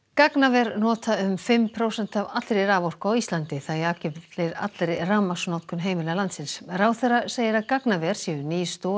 gagnaver nota um fimm prósent af allri raforku á Íslandi það jafngildir allri rafmagnsnotkun heimila landsins ráðherra segir að gagnaver séu ný stoð